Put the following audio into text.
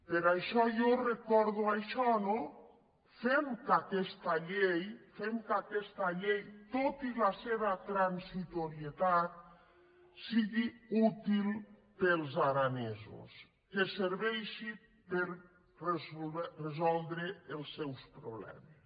per això jo recordo això no fem que aquesta llei fem que aquesta llei tot i la seva transitorietat sigui útil per als aranesos que serveixi per resoldre els seus problemes